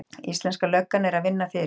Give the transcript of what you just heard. Íslenska löggan er að vinna fyrir